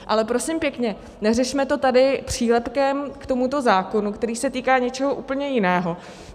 Ale prosím pěkně, neřešme to tady přílepkem k tomuto zákonu, který se týká něčeho úplně jiného.